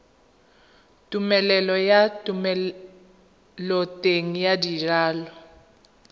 tumelelo ya thomeloteng ya dijalo